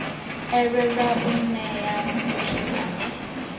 elelwe u nea muthu ane